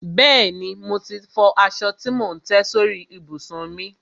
Bẹ́ẹ̀ni, mo ti fọ aṣọ tí mò ń tẹ́ sórí ìbùsùn mi.